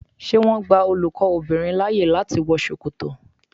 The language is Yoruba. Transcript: Ṣé wọn gba olùkọ́ obìnrin láyè láti wọ Ṣòkòtò?